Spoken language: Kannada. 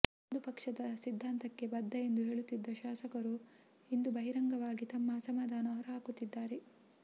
ಅಂದು ಪಕ್ಷದ ಸಿದ್ಧಾಂತಕ್ಕೆ ಬದ್ಧ ಎಂದು ಹೇಳುತ್ತಿದ್ದ ಶಾಸಕರು ಇಂದು ಬಹಿರಂಗವಾಗಿ ತಮ್ಮ ಅಸಮಾಧಾನ ಹೊರಹಾಕುತ್ತಿದ್ದಾರೆ